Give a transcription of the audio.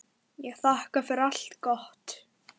Ég þakka fyrir allt gott.